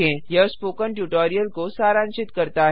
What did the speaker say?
यह spoken tutorial को सारांशित करता है